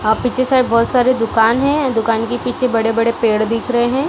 अ पीछे साइड बहुत सारे दुकान है दुकान के पीछे बड़े-बड़े पेड़ दिख रहे हैं।